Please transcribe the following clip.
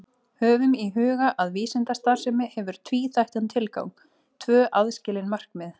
Höfum í huga að vísindastarfsemi hefur tvíþættan tilgang, tvö aðskilin markmið.